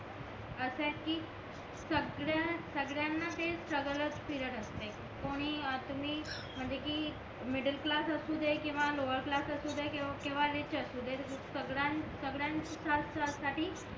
असं आहे कि सगळ्या सगळ्यांना ते सगळंच फिरत असतंय कोण्ही तुम्ही म्हणजे कि मिडल क्लास आसूदे किंवा लोवर क्लास असुदे किंवा रिच असुदे सगळ्यां सगळयांना साठी